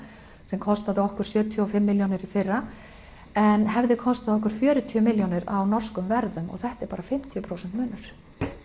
sem kostaði okkur sjötíu og fimm milljónir í fyrra en hefði kostað okkur fjörutíu milljónir á norskum verðum og þetta er bara fimmtíu prósent munur